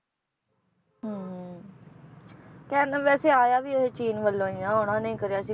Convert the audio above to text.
ਹਮ ਕਹਿੰਦੇ ਵੈਸੇ ਆਇਆ ਵੀ ਇਹ ਚੀਨ ਵੱਲੋਂ ਹੀ ਆ ਉਹਨਾਂ ਨੇ ਹੀ ਕਰਿਆ ਸੀ